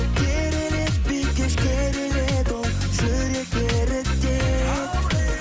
керіледі бикеш керіледі ол жүректі ерітеді